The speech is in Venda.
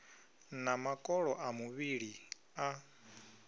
na makolo a muvhili a